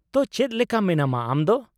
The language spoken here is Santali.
ᱛᱚ, ᱪᱮᱫ ᱞᱮᱠᱟ ᱢᱮᱱᱟᱢᱟ ᱟᱢ ᱫᱚ ?